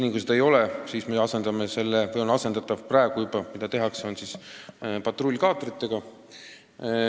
Kuni seda ei ole, patrullitakse patrullkaatritega.